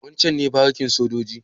Wancen ne barikin sojojin?